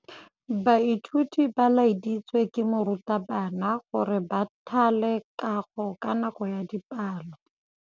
Baithuti ba laeditswe ke morutabana gore ba thale kagô ka nako ya dipalô.